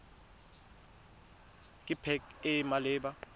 ke pac e e maleba